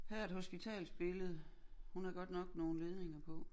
Her er et hospitalsbillede hun har godt nok nogle ledninger på